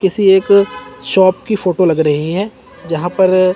किसी एक शॉप की फोटो लग रही है जहां पर--